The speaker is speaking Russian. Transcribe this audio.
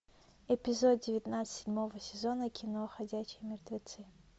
эпизод девятнадцать седьмого сезона кино ходячие мертвецы